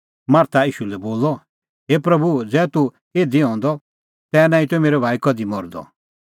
मार्था ईशू लै बोलअ हे प्रभू ज़ै तूह इधी हंदअ तै नांईं त मेरअ भाई कधि मरदअ